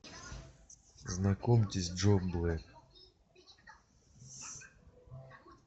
знакомьтесь джо блэк